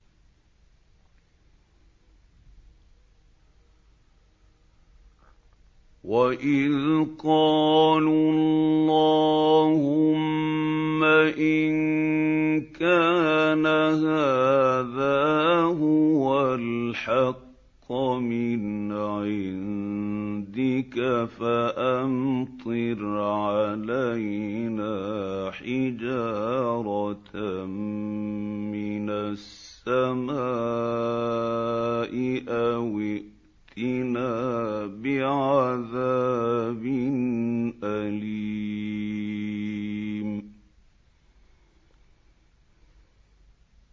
وَإِذْ قَالُوا اللَّهُمَّ إِن كَانَ هَٰذَا هُوَ الْحَقَّ مِنْ عِندِكَ فَأَمْطِرْ عَلَيْنَا حِجَارَةً مِّنَ السَّمَاءِ أَوِ ائْتِنَا بِعَذَابٍ أَلِيمٍ